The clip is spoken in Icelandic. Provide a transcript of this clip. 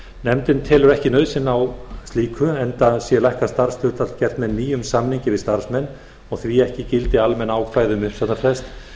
nefndin telur þó ekki nauðsyn á slíku enda sé lækkað starfshlutfall gert með nýjum samningi við starfsmenn og því ekki í gildi almenn ákvæði um uppsagnarfrest